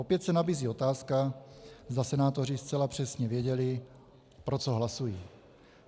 Opět se nabízí otázka, zda senátoři zcela přesně věděli, pro co hlasují.